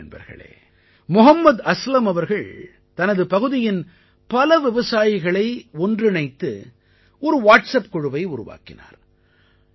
சரி நண்பர்களே மொஹம்மத் அஸ்லம் அவர்கள் தனது பகுதியின் பல விவசாயிகளை ஒன்றிணைத்து ஒரு வாட்ஸப் குழுவை உருவாக்கினார்